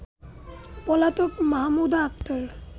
পলাতক মাহমুদা আক্তার